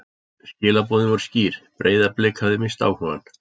Skilaboðin voru skýr: Breiðablik hafði misst áhugann.